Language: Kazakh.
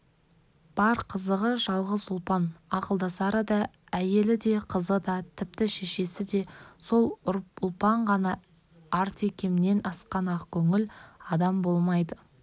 бар қызығы жалғыз ұлпан ақылдасары да әйелі де қызы да тіпті шешесі де сол ұлпан ғана артекемнен асқан ақкөңіл адам болмайды